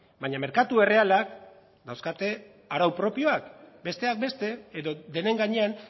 baina merkatu errealak dauzkate arau propioak besteak beste edo denen gainean